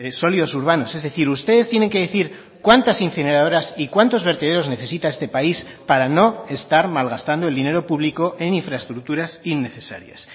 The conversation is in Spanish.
sólidos urbanos es decir ustedes tienen que decir cuántas incineradoras y cuántos vertederos necesita este país para no estar malgastando el dinero público en infraestructuras innecesarias